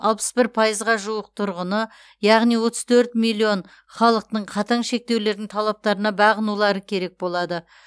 алпыс бір пайызға жуық тұрғыны яғни отыз төрт миллион халықтың қатаң шектеулердің талаптарына бағынулары керек болады